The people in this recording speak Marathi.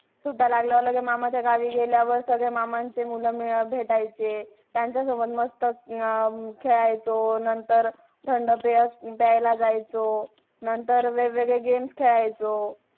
आणि सध्या तर आमची practical चालू आहे थोडे it च्या related आणि MA मध्ये management accounting account कसा management करतात जर